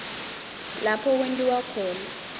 lapho kwentiwa khona